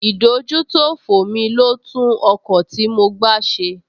Ìdójútòfò mi ló tún ọkọ̀ tí mo gbá ṣe